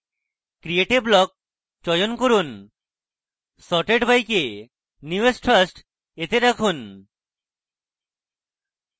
create a block চয়ন করুন sorted by কে newest first রাখুন